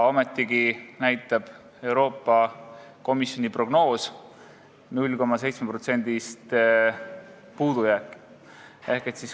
Ometigi näitab Euroopa Komisjoni prognoos 0,7%-list puudujääki.